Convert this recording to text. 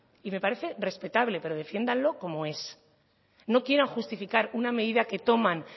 me parece respetable pero defiéndanlo como es no quieran justificar una medida que toman